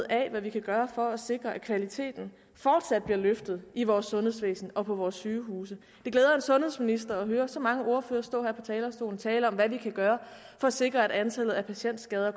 af hvad vi kan gøre for at sikre at kvaliteten fortsat bliver løftet i vores sundhedsvæsen og på vores sygehuse det glæder en sundhedsminister at høre så mange ordførere stå her på talerstolen og tale om hvad vi kan gøre for at sikre at antallet af patientskader